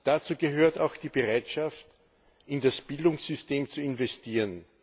Dazu gehört auch die Bereitschaft, in das Bildungssystem zu investieren.